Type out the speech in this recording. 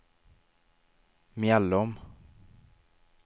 Mjällom